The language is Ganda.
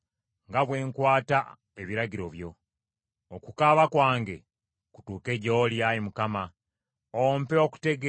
Okukaaba kwange kutuuke gy’oli, Ayi Mukama , ompe okutegeera ng’ekigambo kyo bwe kiri.